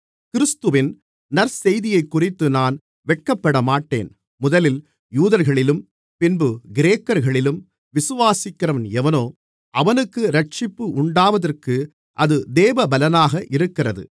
கிறிஸ்துவின் நற்செய்தியைக்குறித்து நான் வெட்கப்படமாட்டேன் முதலில் யூதர்களிலும் பின்பு கிரேக்கர்களிலும் விசுவாசிக்கிறவன் எவனோ அவனுக்கு இரட்சிப்பு உண்டாவதற்கு அது தேவபெலனாக இருக்கிறது